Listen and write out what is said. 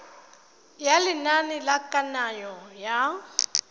ya lenane la kananyo ya